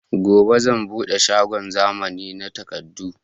Gobe zan buɗe shagon zamani na takardu